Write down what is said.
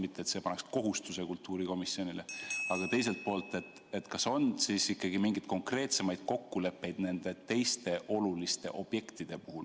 Mitte et see paneks kohustuse kultuurikomisjonile, aga teiselt poolt, kas on mingeid konkreetsemaid kokkuleppeid nende teiste oluliste objektide puhul ...